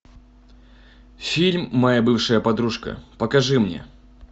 фильм моя бывшая подружка покажи мне